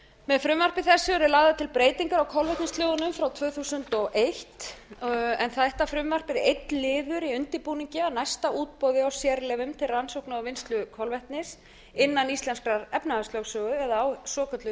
með frumvarpi þessu eru lagðar til breytingar á kolvetnislögunum frá tvö þúsund og eitt en þetta frumvarp er einn liður í undirbúningi að næsta útboði á sérleyfum til rannsókna og vinnslu kolvetnis innan íslenskrar efnahagslögsögu eða á svokölluðu